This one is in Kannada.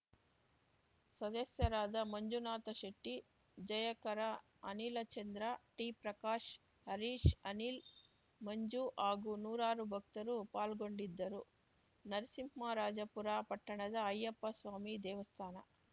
ಸದಸ್ಯರಾದ ಮಂಜುನಾಥ ಶೆಟ್ಟಿ ಜಯಕರ ಅನಿಲಚಂದ್ರ ಟಿಪ್ರಕಾಶ್‌ ಹರೀಶ್‌ ಅನಿಲ್‌ ಮಂಜು ಹಾಗೂ ನೂರಾರು ಭಕ್ತರು ಪಾಲ್ಗೊಂಡಿದ್ದರು ನರಸಿಂಹರಾಜಪುರ ಪಟ್ಟಣದ ಅಯ್ಯಪ್ಪಸ್ವಾಮಿ ದೇವಸ್ಥಾನ